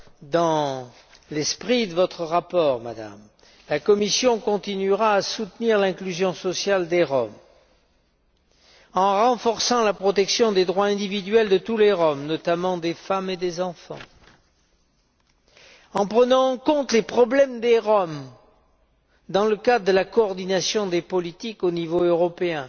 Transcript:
Dans l'esprit de votre rapport, Madame, la Commission continuera de soutenir l'inclusion sociale des Roms en renforçant la protection des droits individuels de tous les Roms, notamment des femmes et des enfants, en prenant en compte les problèmes des Roms dans le cadre de la coordination des politiques au niveau européen,